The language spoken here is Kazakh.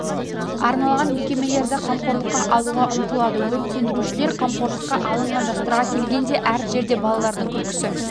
арналған мекемелерді қамқорлыққа алуға ұмтылады өрт сөндірушілер қамқорлыққа алынған жастарға келгенде әр жерде балалардың күлкісі